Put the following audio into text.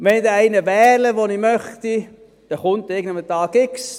Wenn ich einen gewählt habe, den ich möchte, dann kommt dieser an einem Tag X.